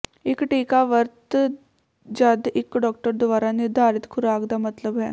ਇੱਕ ਟੀਕਾ ਵਰਤ ਜਦ ਇੱਕ ਡਾਕਟਰ ਦੁਆਰਾ ਨਿਰਧਾਰਤ ਖੁਰਾਕ ਦਾ ਮਤਲਬ ਹੈ